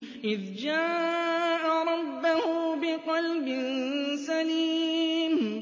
إِذْ جَاءَ رَبَّهُ بِقَلْبٍ سَلِيمٍ